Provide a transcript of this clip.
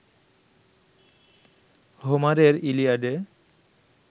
হোমারের ইলিয়াডে